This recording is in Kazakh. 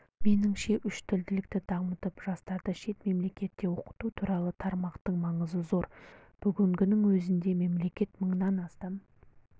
меніңше үштілділікті дамытып жастарды шет мемлекетте оқыту туралы тармақтың маңызы зор бүгіннің өзінде мемлекет мыңнан астам